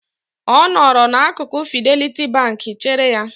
Ọ nọrọ n'akụkụ Fideliti Bank chere ya.